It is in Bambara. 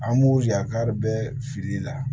An b'o yakari bɛɛ fili la